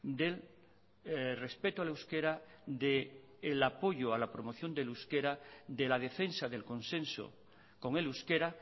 del respeto al euskera del apoyo a la promoción del euskera de la defensa del consenso con el euskera